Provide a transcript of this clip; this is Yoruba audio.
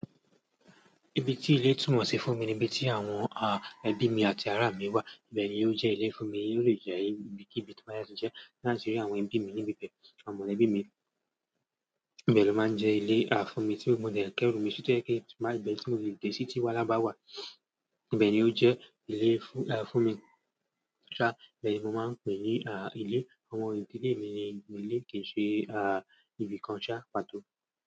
Ibi tí ilé túnmọ̀ sí fún mi ni ibi tí àwọn ẹbí àti ará mí wà. Ibẹ̀ ni yó jẹ́ ilé fún mi, yió lè jẹ́ ayé ibi kíbi tó bá ṣáà ti jẹ́ tí n báti rí àwọn ẹbí mi níbi ibẹ̀. Àwọn mọ̀lẹ́bí mi, ibẹ̀ ló ma ń jẹ́ ilé à fún mi tí mo dẹ̀ kẹ́rù mi sí tó jẹ́ pé tí nbá ti ibẹ̀ tí mo lè dé sí tí wàhálà bá wà. Ibẹ̀ ni ó jẹ́ ilé fún mi ṣá, ibẹ̀ ni mo máa ń pè ní à ilé. Àwọn ìdílé mi ni ilé kìí se à ibìkan ṣá pàtó.